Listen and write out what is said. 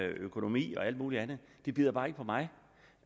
økonomi og alt mulig andet det bider bare ikke på mig